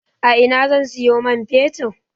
A ina zan siyo man fetir?